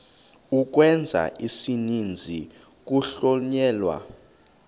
ukwenza isininzi kuhlonyelwa